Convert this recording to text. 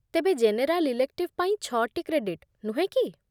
ତେବେ general elective ପାଇଁ ଛଅଟି କ୍ରେଡିଟ୍, ନୁହେଁ କି?